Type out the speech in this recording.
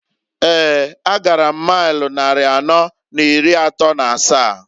Eeǃ A gara m mail nnari anọọ n'iri atọọ n'asaa.